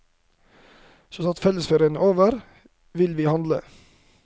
Så snart fellesferien er over vil vi handle.